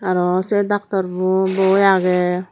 aro se doctor bu boi agey.